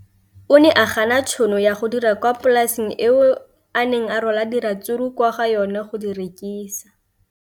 O ne a gana tšhono ya go dira kwa polaseng eo a neng rwala diratsuru kwa go yona go di rekisa.